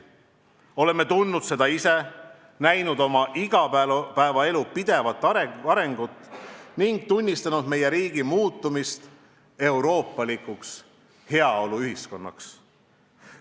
Oleme tundnud seda ise, näinud oma igapäevaelu pidevat arengut ning tunnistanud meie riigi muutumist euroopalikuks heaoluühiskonnaks.